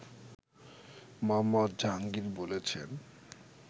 মুহাম্মদ জাহাঙ্গীর বলছেন